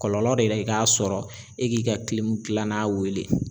Kɔlɔlɔ de la i k'a sɔrɔ e k'i ka gilana weele.